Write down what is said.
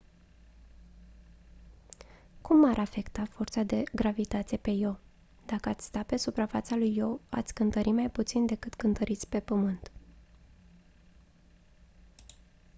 cum m-ar afecta forța de gravitație pe io dacă ați sta pe suprafața lui io ați cântări mai puțin decât cântăriți pe pământ